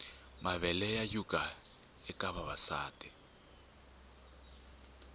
mavele ya yhuga eka vavasati